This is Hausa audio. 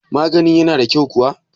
maganin yana da kyau kuwa?